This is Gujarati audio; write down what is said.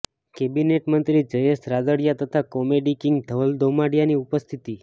કેબિનેટ મંત્રી જયેશ રાદડીયા તથા કોમેડી કીંગ ધવલ દોમડીયાની ઉપસ્થિતિ